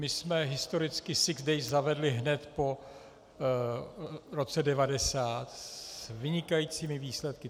My jsme historicky sick days zavedli hned po roce 1990 s vynikajícími výsledky.